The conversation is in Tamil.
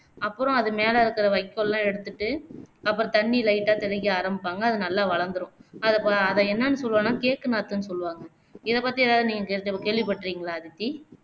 அப்பறம் அது மேல இருக்குற வைக்கோலலாம் எடுத்துட்டு அப்பறம் தண்ணீய lite ஆ தெளிக்க ஆரம்பிப்பாங்க அது நல்லா வளந்துரும் அத பாதை என்னான்னு சொல்லுவாங்கன்னா cake நாத்துன்னு சொல்லுவாங்க இதபத்தி நீங்க தெரிஞ்ச கேள்விப்பட்டிருக்கீங்களா அதித்தி